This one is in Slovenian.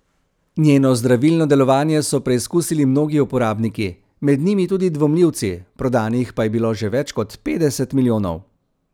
Njeno zdravilno delovanje so preizkusili mnogi uporabniki, med njimi tudi dvomljivci, prodanih pa je bilo že več kot petdeset milijonov.